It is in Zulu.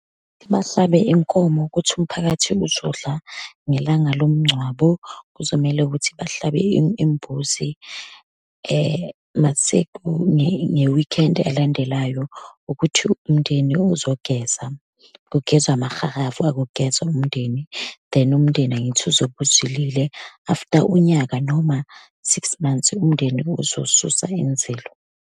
Bahlabe inkomo ukuthi umphakathi uzodla ngelanga lomngcwabo. Kuzomele ukuthi bahlabe imbuzi, uma nge-weekend elandelayo, ukuthi umndeni uzogeza, kugezwa amahalavu, akugezwa umndeni. Then umndeni angithi uzobe uzilile, after unyaka, noma six months, umndeni ozosusa inzilo.